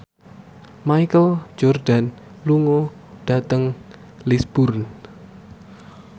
Michael Jordan lunga dhateng Lisburn